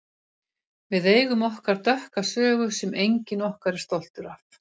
Við eigum okkar dökka sögu sem enginn okkar er stoltur af.